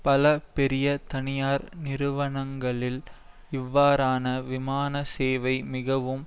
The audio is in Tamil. பல பெரிய தனியார் நிறுவனங்களில் இவ்வாறான விமான சேவை மிகவும்